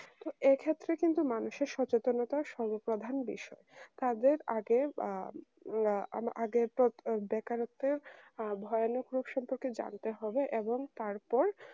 তো এক্ষেত্রে কিন্তু মানুষের সচেতনতা সর্ব প্রধান বিষয় তাদের আগে আ উম আ আগে প্রো বেকারত্বের আ ভয়ানক রূপ সম্পর্কে জানতে হবে এবং তারপর